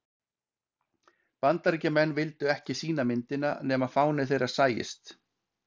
Bandaríkjamenn vildu ekki sýna myndina nema fáni þeirra sæist.